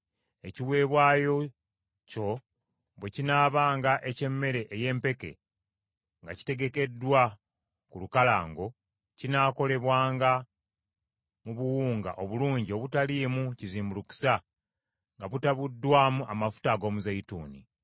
Ekiweebwayo kyo bwe kinaabanga eky’emmere ey’empeke nga kitegekeddwa ku lukalango, kinaakolebwanga mu buwunga obulungi obutaliimu kizimbulukusa nga butabuddwamu amafuta ag’omuzeeyituuni.